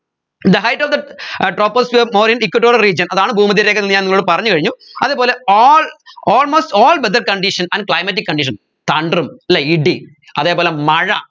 the height of the air troposphere more in equatorial region അതാണ് ഭൂമദ്ധ്യരേഖ എന്ന് ഞാൻ നിങ്ങളോട് പറഞ്ഞു കഴിഞ്ഞു അതേപോലെ all almost all weather condition and climatic condition thunder ഉം അല്ലെ ഇടി അതേപോലെ മഴ